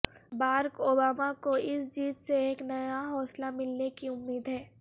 بارک اوبامہ کو اس جیت سے ایک نیا حوصلہ ملنے کی امید ہے